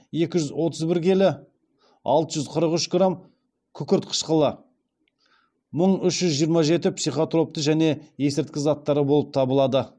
екі жүз отыз бір келі алты жүз қырық үш грамм күкірт қышқылы мың үш жүз жиырма жеті психотропты және есірткі заттары болып табылады